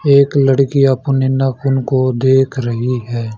एक लड़की अपने नाखुन को देख रही है।